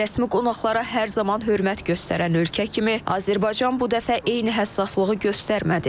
Rəsmi qonaqlara hər zaman hörmət göstərən ölkə kimi Azərbaycan bu dəfə eyni həssaslığı göstərmədi.